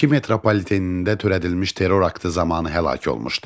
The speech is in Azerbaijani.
Bakı metropolitenində törədilmiş terror aktı zamanı həlak olmuşdu.